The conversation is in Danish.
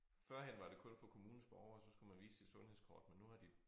Førhen var det kun for kommunens borgere så skulle man vise sit sundhedskort men nu har de